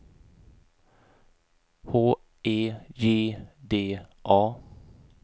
H E J D A